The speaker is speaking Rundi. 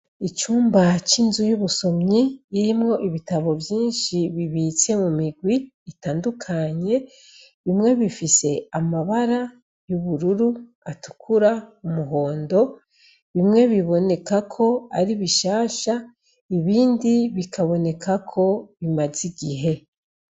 Icumba c'inzu y'ubusomyi irimo ibitabo vyinshi bibitse mu migwi itandukanye, bimwe bifise amabara y'ubururu, atukura, umuhondo, bimwe biboneka ko ari bishasha ibindi bikaboneka ko bimaze igihe.